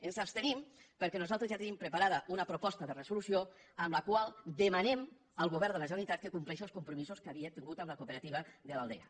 ens abstenim perquè nosaltres ja tenim preparada una proposta de resolució en la qual demanem al govern de la generalitat que compleixi els compromisos que havia tingut amb la cooperativa de l’aldea